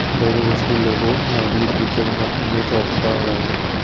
the university logo likely featuring an image of a rhino.